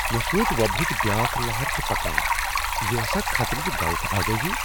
مےٚ سوچ وبا ہچ بیاكھ لہر چھِ پكان ۔ یہ ٲسا خطرٕچہِ غلط آگٲہی ؟